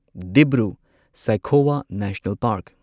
Dibru Saikhowa national park